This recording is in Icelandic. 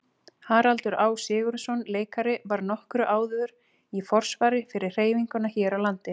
Haraldur Á. Sigurðsson leikari var nokkru áður í forsvari fyrir hreyfinguna hér á landi.